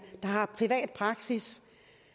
har privat praksis